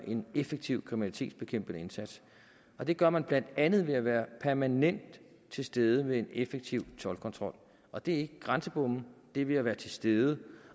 en effektiv kriminalitetsbekæmpende indsats det gør man blandt andet ved at være permanent til stede med en effektiv toldkontrol og det er ikke grænsebomme det er ved at være til stede